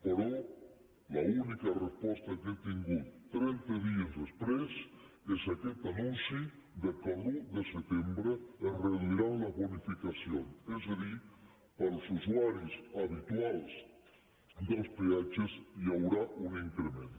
però l’única resposta que hem tingut trenta dies després és aquest anunci que l’un de setembre es reduiran les bonificacions és a dir per als usuaris habituals dels peatges hi haurà un increment